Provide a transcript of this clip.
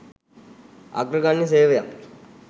අග්‍රගන්‍ය සේවයක්